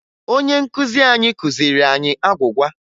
Onye nkuzi anyị kụziri anyị agwụgwa